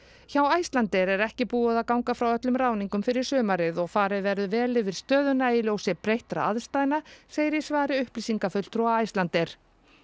hjá Icelandair er ekki búið að ganga frá öllum ráðningum fyrir sumarið og farið verður vel yfir stöðuna í ljósi breyttra aðstæðna segir í svari upplýsingafulltrúa Icelandair